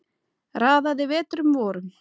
Raðaði vetrum vorum